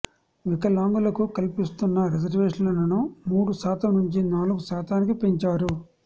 వికలాంగులకు కల్పిస్తున్న రిజర్వేషన్లను మూడు శాతం నుంచి నాలుగు శాతానికి పెంచారు